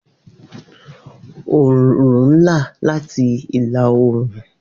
Oorun ga soke ni-õrùn.